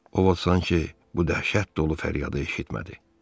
Ovod sanki bu dəhşət dolu fəryadı eşitmədi.